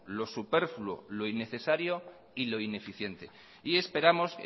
lo superfluo lo innecesario y lo ineficiente y esperamos